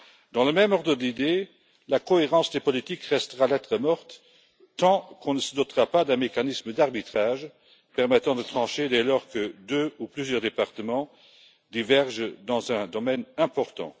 Dans le même ordre d'idées, la cohérence des politiques restera lettre morte tant qu'on ne se dotera pas d'un mécanisme d'arbitrage permettant de trancher dès lors que deux ou plusieurs départements divergent dans un domaine important.